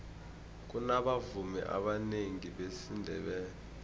kunabavumi abanengi besindebele